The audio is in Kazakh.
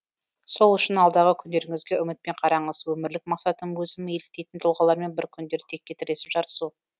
сол үшін алдағы күндеріңізге үмітпен қараңыз өмірлік мақсатым өзім еліктейтін тұлғалармен бір күндері теке тіресіп жарысу